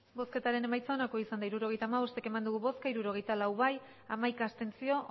hirurogeita hamabost eman dugu bozka hirurogeita lau bai hamaika abstentzio